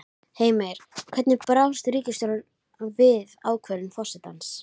Heimir, hvernig brást ríkisstjórnin við ákvörðun forsetans?